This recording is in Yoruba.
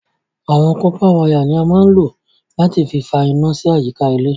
Awọn kọ̀pà wàya ni à mà n lọ̀ láti fì fà iná sí àyíkà ilẹ̀